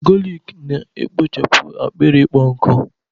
galik na-ekpochapụ akpịrị ịkpọ nkụ